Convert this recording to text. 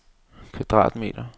kvadratmeter